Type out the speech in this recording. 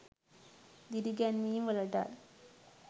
දිරි ගැන්වීම්වලටත්